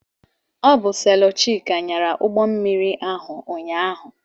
Ọ bụ selọ Chika nyara ụgbọmmiri ahụ ụnyaahụ.